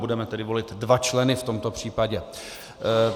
Budeme tedy volit dva členy v tomto případě.